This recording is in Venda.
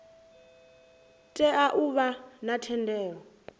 tea u vha na thendelo